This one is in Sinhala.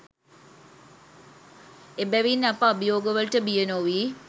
එබැවින් අප අභියෝගවලට බිය නොවී